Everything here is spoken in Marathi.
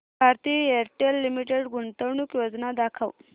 भारती एअरटेल लिमिटेड गुंतवणूक योजना दाखव